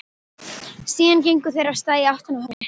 Síðan gengu þeir af stað í áttina að höfninni.